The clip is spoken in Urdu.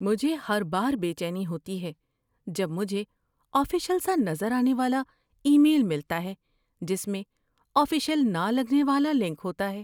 مجھے ہر بار بے چینی ہوتی ہے جب مجھے آفیشل سا نظر آنے والا ای میل ملتا ہے جس میں آفیشل نہ لگنے والا لنک ہوتا ہے۔